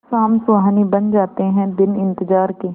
शाम सुहानी बन जाते हैं दिन इंतजार के